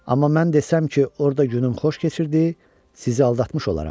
Amma mən desəm ki, orda günüm xoş keçirdi, sizi aldatmış olaram.